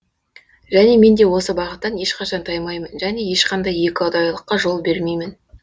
және мен де осы бағыттан ешқашан таймаймын және ешқандай екіұдайылыққа жол бермеймін